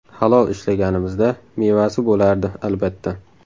Halol ishlaganimizda, mevasi bo‘lardi, albatta.